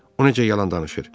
o necə yalan danışır.